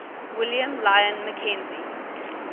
william lyon mackenzie